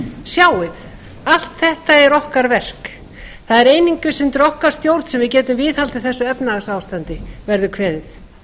sjáið allt þetta er okkar verk það er einungis undir okkar stjórn sem við getum viðhaldið þessu efnahagsástandi verður kveðið